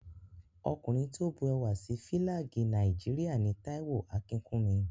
Ọkùnrin tí ó bu ẹwà sí Fílàgì Nàìjíríà ni Táíwò Akínkúnmi